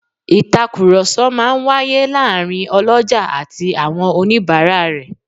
Ìtàkùrọ̀sọ máa ń wáyé láàárín ọlọ́jà àti àwọn oníbàárà rẹ̀